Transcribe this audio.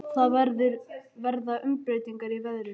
Það verða umbreytingar í veðrinu.